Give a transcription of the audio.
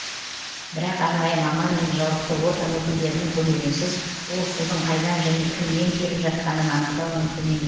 бірақ арнайы маман мен жауапты орган өкілдерінің көмегінсіз ол судың қайдан және кімнен келіп жатқанын анықтау мүмкін емес